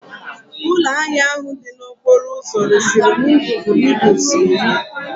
Ụlọ ahịa ahụ dị n'okporo ụzọ resiri m ngwugwu noodles iri